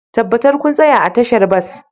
Tabbatar kun tsaya a tashar bas